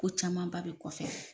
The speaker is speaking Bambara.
Ko camanba bɛ kɔfɛ.